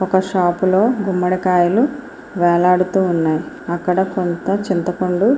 ఒక షాప్ లో గుమ్మడికాయలు వేలాడుతూ ఉన్నాయ్. అక్కడ కొంత చింతపండు --